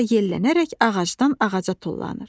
Sonra yellənərək ağacdan ağaca tullanır.